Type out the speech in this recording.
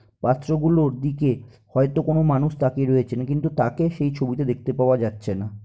পাত্র গুলোর দিকে হয়তো কোন মানুষ তাকিয়ে রয়েছে কিন্তু তাকে সেই ছবিটা দেখতে পাওয়া যাচ্ছে না।